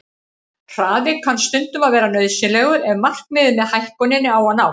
Hraði kann stundum að vera nauðsynlegur ef markmiðið með hækkuninni á að nást.